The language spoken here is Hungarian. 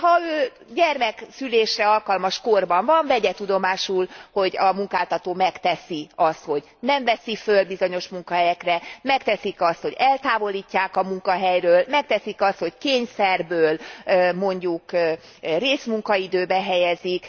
Ha ő gyermekszülésre alkalmas korban van, vegye tudomásul, hogy a munkáltató megteszi azt, hogy nem veszi föl bizonyos munkahelyekre, megteszik azt, hogy eltávolítják a munkahelyről, megteszik azt, hogy kényszerből mondjuk részmunkaidőbe helyezik.